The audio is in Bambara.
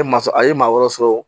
E ma sɔ a ye maa wɔrɔ